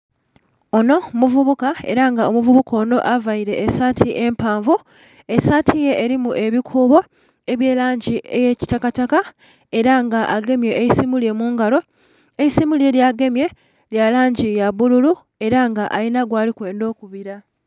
Onho muvubuka, era nga omuvubuka onho aveile esaati empanvu, esaati ye elimu ebikubo ebye langi eya kitaka taka era nga agemye eisimu mungalo, eisimu lye ly'agemye mungalo lya langi ya bululu era nga alinha gwalimwendha okubila.